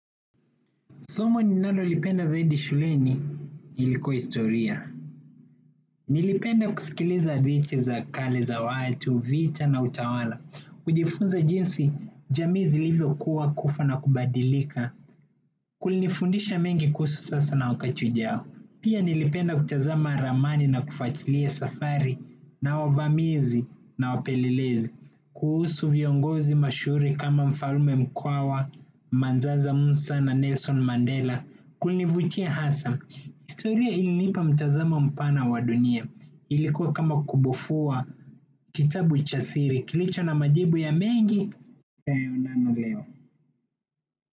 Somo ninalo lipenda zaidi shuleni lilikuwa historia. Nilipenda kusikiliza hadithi za kale za watu, vita na utawala. Kujifunza jinsi, jamii zilivyo kua, kufa na kubadilika. Kulinifundisha mengi kuhusu sasa na wakati ujao. Pia nilipenda kutazama ramani na kufatilia safari na wavamizi na wapelelezi. Kuhusu viongozi mashuhuri kama mfalme Mukwawa, Manzenza Musa na Nelson Mandela. Kunivutia hasa, historia ilinipa mtazamo mpana wa dunia. Ilikuwa kama kubufua, kitabu cha siri kilicho na majibu ya mengi, tuyaonayo leo.